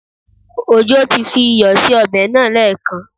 Òjó ti fi iyọ̀ sí ọbẹ̀ náà lẹ́ẹ̀kan